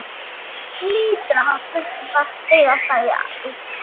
Hann hlýtur að hafa drukkið Svartadauða, sagði Eiríkur.